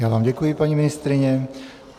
Já vám děkuji, paní ministryně.